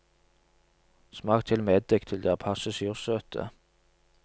Smak til med eddik til de er passe sursøte.